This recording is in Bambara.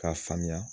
K'a faamuya